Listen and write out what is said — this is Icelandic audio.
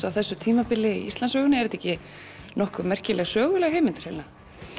á þessu tímabili í Íslandssögunni er þetta ekki nokkuð merkilega söguleg heimild hreinlega